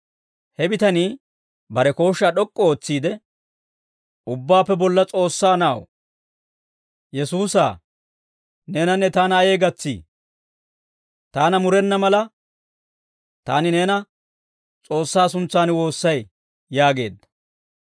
He bitanii bare kooshshaa d'ok'k'u ootsiide, «Ubbaappe Bolla S'oossaa Na'aw, Yesuusaa, neenanne taana ayee gatsii? Taana murenna mala, taani neena S'oossaa suntsan woossay» yaageedda.